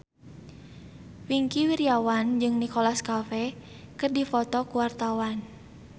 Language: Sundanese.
Wingky Wiryawan jeung Nicholas Cafe keur dipoto ku wartawan